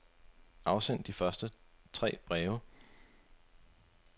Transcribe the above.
Afsend de tre første breve.